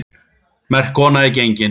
Merk kona er gengin.